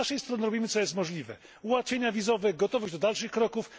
Z naszej strony robimy, co jest możliwe ułatwienia wizowe, gotowość do dalszych kroków.